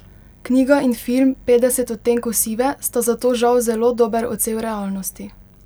Knjiga in film Petdeset odtenkov sive sta zato žal zelo dober odsev realnosti.